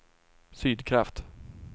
Sydkraft